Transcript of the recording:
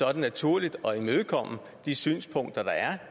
er det naturligt at imødekomme de synspunkter der er